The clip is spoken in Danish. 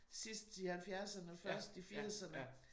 Sidst i halvfjerserne og først i firserne